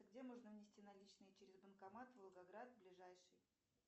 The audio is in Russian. где можно внести наличные через банкомат волгоград ближайший